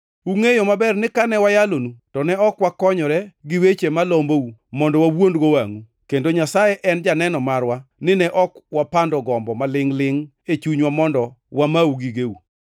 Ungʼeyo maber ni kane wayalonu to ne ok wakonyore gi weche malombou mondo wawuondgo wangʼu, kendo Nyasaye en janeno marwa ni ne ok wapando gombo malingʼ-lingʼ e chunywa mondo wamau gigeu!